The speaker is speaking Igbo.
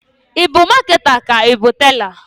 I bu maketa ka i bu tela?